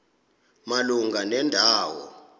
malunga nenda wo